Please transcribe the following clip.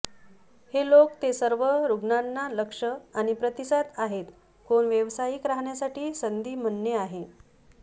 हे लोक ते सर्व रुग्णांना लक्ष आणि प्रतिसाद आहेत कोण व्यावसायिक राहण्यासाठी संधी म्हणणे आहे